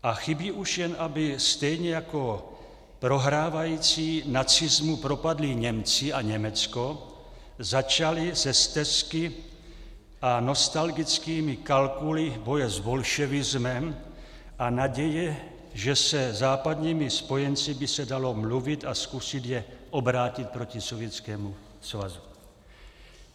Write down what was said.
A chybí už, jen aby stejně jako prohrávající nacismu propadlí Němci a Německo začali se stesky a nostalgickými kalkuly boje s bolševismem a naděje, že se západními spojenci by se dalo mluvit a zkusit je obrátit proti Sovětskému svazu.